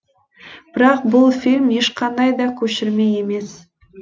бірақ бұл фильм ешқандай да көшірме емес